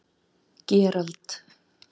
Gerald